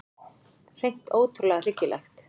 Hreint ótrúlega hryggilegt.